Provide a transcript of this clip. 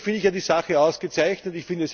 Grundsätzlich finde ich die Sache ausgezeichnet.